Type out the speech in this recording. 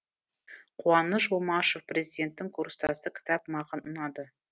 қуаныш омашев президенттің курстасы кітап маған ұнады